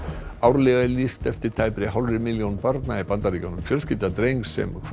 árlega er lýst eftir tæpri hálfri milljón barna í Bandaríkjunum fjölskylda drengs sem hvarf